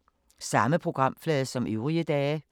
Samme programflade som øvrige dage